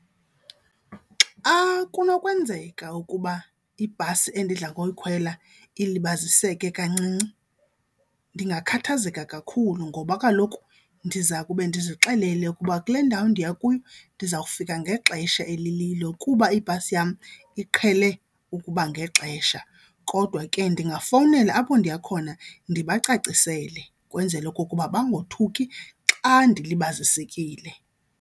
Xa kunokwenzeka ukuba ibhasi endidla ngoyikhwela ilibaziseke kancinci ndingakhathazeka kakhulu ngoba kaloku ndiza kube ndizixelele ukuba kule ndawo ndiya kuyo ndizawufika ngexesha elililo kuba ibhasi yam iqhele ukuba ngexesha. Kodwa ke ndingafowunela apho ndiya khona ndibacacisele kwenzele okokuba bongothuki xa ndilibazisekile.